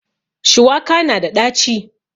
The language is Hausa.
Shuwaka na da ɗaci